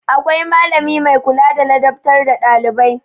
Akwai malami mai kula da ladabtar da ɗailibai.